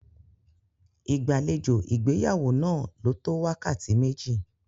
Ìgbàlejò ìgbéyàwó náà lò tó wákàtí méjì.